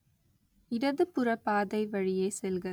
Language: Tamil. இடதுபுற பாதை வழியே செல்க